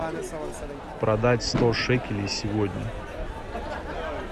продать сто шекелей сегодня